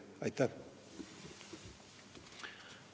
Aitäh!